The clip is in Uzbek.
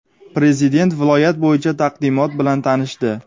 Prezident viloyat bo‘yicha taqdimot bilan tanishdi.